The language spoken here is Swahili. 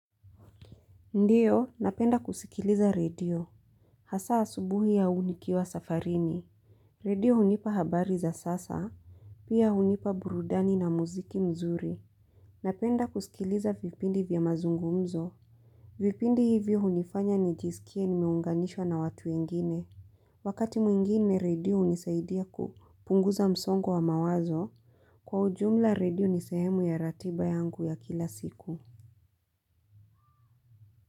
Ndiyo napenda kusikiliza radio. Hasa asubuhi au nikiwa safarini. Radio hunipa habari za sasa. Pia hunipa burudani na muziki mzuri. Napenda kusikiliza vipindi vya mazungumzo. Vipindi hivyo hunifanya nijisikie nimeunganishwa na watu wengine. Wakati mwingine radio hunisaidia kupunguza msongo wa wa mawazo. Kwa ujumla radio ni sehemu ya ratiba yangu ya kila siku.